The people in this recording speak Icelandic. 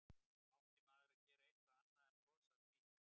Átti maður að gera eitthvað annað en að brosa að því?